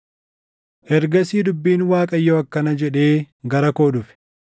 Ergasii dubbiin Waaqayyoo akkana jedhee gara koo dhufe: